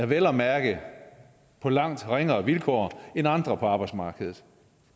vel at mærke på langt ringere vilkår end andre på arbejdsmarkedet